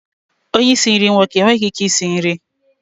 Onye isi nri nwoke enweghị ike isi nri?